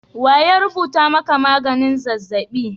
Wa rubuta maka magnin zazzaɓi?